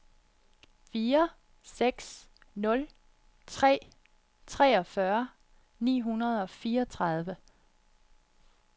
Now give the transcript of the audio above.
fire seks nul tre treogfyrre ni hundrede og fireogtredive